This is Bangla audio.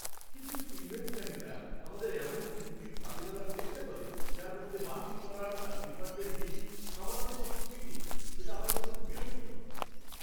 কিছু কিছু ইভেন্ট ম্যানেজার আমাদের এমন চুক্তির ফাঁদে ফেলার চেষ্টা করে যার মধ্যে বাতিল করার আর রিফাণ্ডের নীতি সামান্য বা কিছুই নেই, সেটা আমার কাছে খুব বিরক্তিকর!